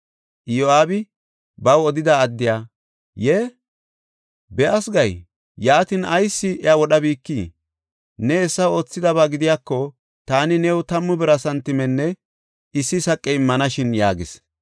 Iyo7aabi baw odida addiya, “Yee, be7as gay? Yaatin ayis iya wodhabikii? Ne hessa oothidaba gidiyako, taani new tammu bira santimenne issi saqe immanashin” yaagis.